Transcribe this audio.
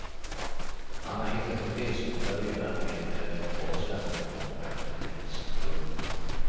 Han har hittat resmål där redan en eller ett par svenska konkurrenter finns. punkt